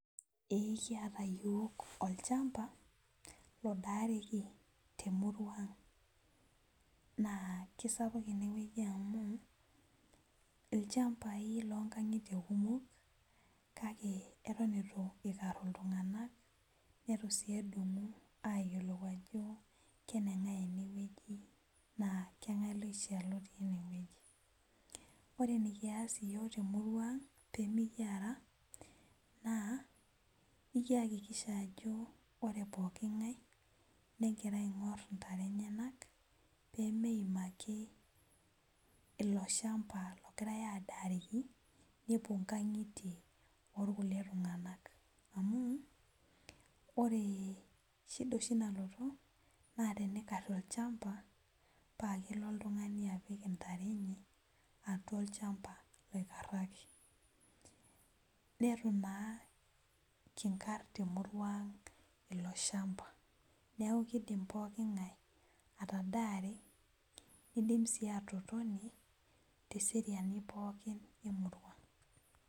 Ee kiata Yiok olchamba adaarieki temurua aang na kisapuk inewueji olenga amu lchambai lonkangitie kumok kake eton itu ikaru ltunganak netu si edung ltunganak peyiolou ajo kenengae enewueji na kangaai naishaa petii enewueji ore enikias yiok temurua aang nikiakikisha ajo pre pokki ngae pegira aingur ntare enye pemeim ake ilobshamba ogira adare nepuo nkangitie orkulie tunganak amuore shida oshi nalotu na tenikari olchamba pakelo oltungani apik ntare atua olchamba oikaraki netu na kinkar temurua aang ilobshamba neaku kidim pookin ngae atadare nidim sii atotoni teseriani pooki emurua.